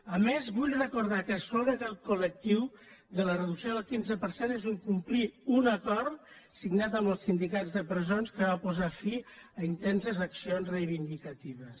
a més vull recordar que excloure aquest col·lectiu de la reducció del quinze per cent és incomplir un acord signat amb els sindicats de presons que va posar fi a intenses accions reivindicatives